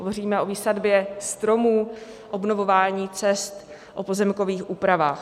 Hovoříme o výsadbě stromů, obnovování cest, o pozemkových úpravách.